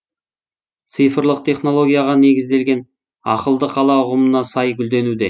цифрлық технологияға негізделген ақылды қала ұғымына сай гүлденуде